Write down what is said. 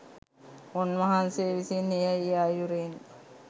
උන්වහන්සේ විසින් එය ඒ අයුරින්